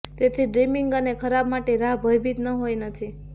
તેથી ડ્રીમીંગ અને ખરાબ માટે રાહ ભયભીત ન હોઈ નથી